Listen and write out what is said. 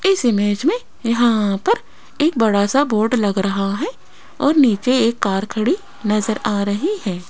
इस इमेज में यहां पर एक बड़ा सा बोर्ड लग रहा है और नीचे एक कार खड़ी नजर आ रही है।